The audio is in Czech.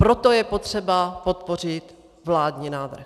Proto je třeba podpořit vládní návrh.